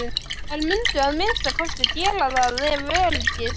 Þær mundu að minnsta kosti gera það ef öryggis